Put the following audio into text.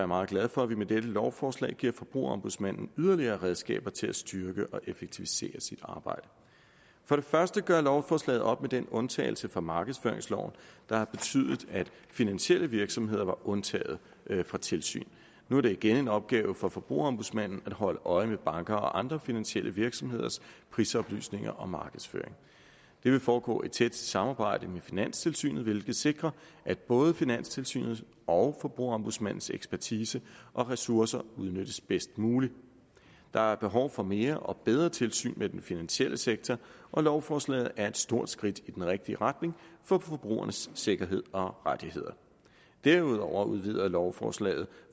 meget glad for at vi med dette lovforslag giver forbrugerombudsmanden yderligere redskaber til at styrke og effektivisere arbejdet for det første gør lovforslaget op med den undtagelse fra markedsføringsloven der har betydet at finansielle virksomheder var undtaget fra tilsyn nu er det igen en opgave for forbrugerombudsmanden at holde øje med banker og andre finansielle virksomheders prisoplysninger og markedsføring det vil foregå i tæt samarbejde med finanstilsynet hvilket sikrer at både finanstilsynet og forbrugerombudsmandens ekspertise og ressourcer udnyttes bedst muligt der er behov for mere og bedre tilsyn med den finansielle sektor og lovforslaget er et stort skridt i den rigtige retning for forbrugernes sikkerhed og rettigheder derudover udvider lovforslaget